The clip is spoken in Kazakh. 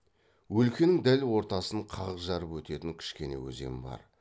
өлкенің дәл ортасын қақ жарып өтетін кішкене өзен бар